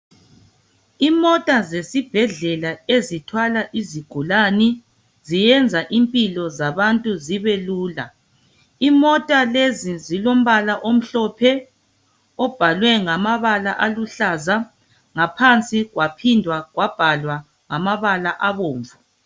Imota zesibhedlela ezithwala isigulani ziyenza impilo zabantu zibe lula. Imota lezi zilombala amhlophe loluhlaza, ngaphansi zaphinda zabhalwa ngamabala abomvu.